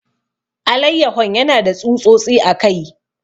Alayyahon yana da tsutsotsi a kai.